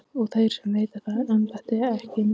Og þeir sem veita það embætti, ekki satt?